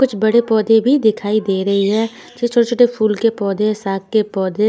कुछ बड़े बोधे भी दिखाई दे रही है है छोटे-छोटे फूल के पोधे साग के पोधे--